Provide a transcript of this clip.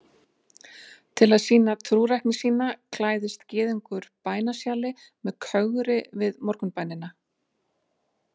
Til að sýna trúrækni sína klæðist gyðingur bænasjali með kögri við morgunbænina.